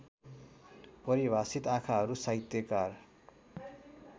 परिभाषित आँखाहरू साहित्यकार